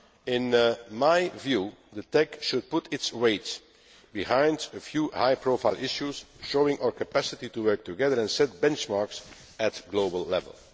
In my view, the TEC should put its weight behind a few high profile issues, showing our capacity to work together and set benchmarks at global level.